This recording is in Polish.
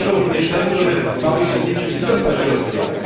One służą również temu, by małe i średnie przedsiębiorstwa się rozwijały.